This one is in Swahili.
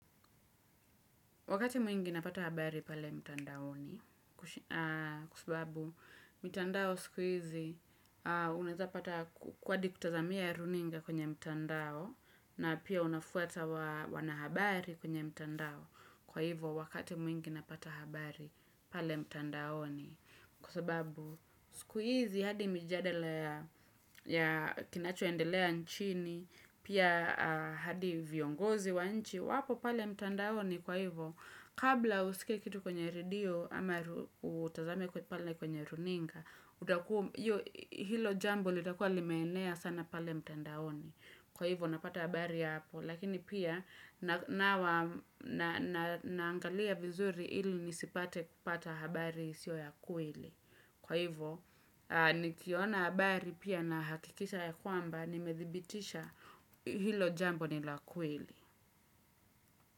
Wakati mwingi napata habari pale mtandaoni kwasababu mitandao sikuizi unaezapata kwadi kutazamia runinga kwenye mtandao na pia unafuata wanahabari kwenye mtandao kwa hivo wakati mwingi napata habari pale mtandao ni kwa sababu sikuizi hadi mijadala ya kinacho endelea nchini pia hadi viongozi wa nchi wapo pale mtandao ni kwa hivo Kabla usikie kitu kwenye redio ama utazame kwa pale kwenye runinga Hilo jambo litakua limeenea sana pale mtandaoni Kwa hivyo napata habari hapo Lakini pia naangalia vizuri ili nisipate kupata habari sio ya kweli Kwa hivo nikiona habari pia na hakikisha ya kwamba Nimethibitisha hilo jambo ni la kweli.